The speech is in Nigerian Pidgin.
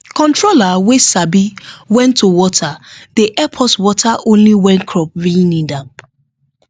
controller wey sabi when to water dey help us water only when crop really need am